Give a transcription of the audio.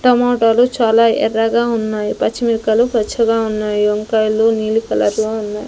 టమోటాలు చాలా ఎర్రగా ఉన్నాయి పచ్చిమిరపకాయలు పచ్చగా ఉన్నాయి వంకాయలు నీలి కలర్ లో ఉన్నాయి.